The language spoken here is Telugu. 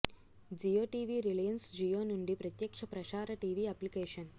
జియో టీవీ రిలయన్స్ జియో నుండి ప్రత్యక్ష ప్రసార టీవీ అప్లికేషన్